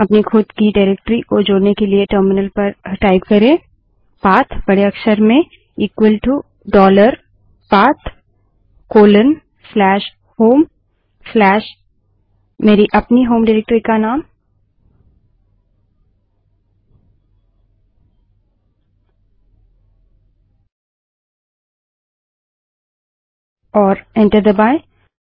अपनी खुद की निर्देशिका डाइरेक्टरी को जोड़ने के लिए टर्मिनल पर टाइप करे पाथबड़े अक्षर में इक्वल टू डॉलर पाथ फिर से बड़े अक्षर में कोलनहोमltthe name of my own home directorygt और एंटर दबायें